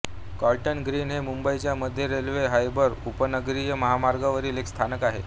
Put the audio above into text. cotton Green हे मुंबईच्या मध्य रेल्वे हार्बर उपनगरीय मार्गावरील एक स्थानक आहे